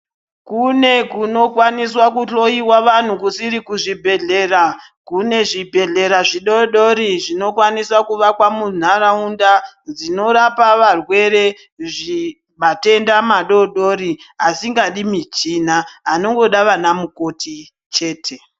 Kune kunokwaniswa kuhloiwa vanhu kusiri kuzvibhedhlera kune zvibhedhlera zvidodori zvinokwanisa kuvakwa muntaraunda dzinorapa varwere zvi matenda madodori asingadi muchina anongoda vana mukoti chete.